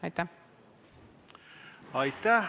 Aitäh!